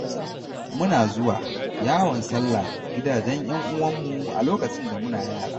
Muna zuwa yawon sallah gidajen 'yan uwanmu a lokacin da muna yara.